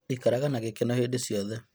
Ikaraga na gĩkeno hĩndĩ ciothe